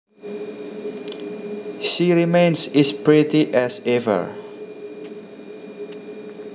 She remains is pretty as ever